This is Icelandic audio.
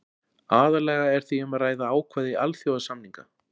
aðallega er því um að ræða ákvæði alþjóðasamninga